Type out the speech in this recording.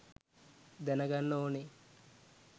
දැනගන්න ඕනේ